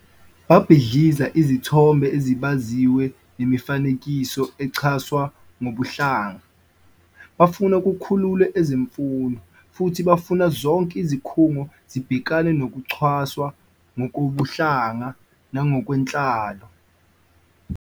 Babhidliza izithombe ezibaziwe nemifanekiso ecwasa ngokobuhlanga, bafuna kukhululwe ezemfundo, futhi bafuna zonke izikhungo zibhekane nokucwaswa ngokobuhlanga nangokwenhlalo.